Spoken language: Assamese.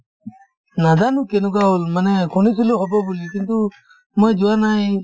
নাজানো কেনেকুৱা হ'ল মানে শুনিছিলো হ'ব বুলি কিন্তু মই যোৱা নাই